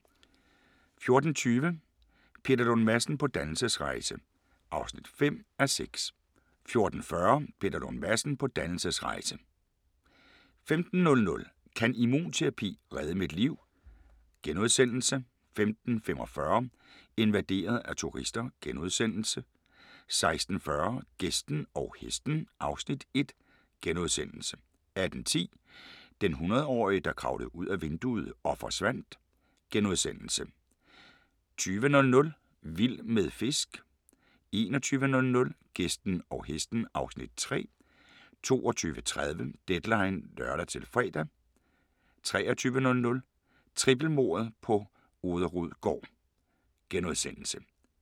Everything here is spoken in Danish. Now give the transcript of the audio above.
14:20: Peter Lund Madsen på dannelsesrejse (5:6) 14:40: Peter Lund Madsen på dannelsesrejse 15:00: Kan immunterapi redde mit liv? * 15:45: Invaderet af turister * 16:40: Gæsten og Hesten (Afs. 1)* 18:10: Den hundredårige, der kravlede ud ad vinduet og forsvandt * 20:00: Vild med fisk 21:00: Gæsten og Hesten (Afs. 3) 22:30: Deadline (lør-fre) 23:00: Trippelmordet på Orderud gård *